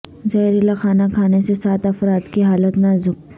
زہریلا کھانا کھانے سے سات افراد کی حالت نازک